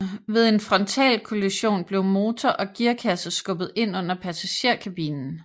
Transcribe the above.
Ved en frontalkollision blev motor og gearkasse skubbet ind under passagerkabinen